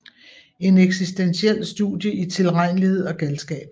En eksistentiel studie i tilregnelighed og galskab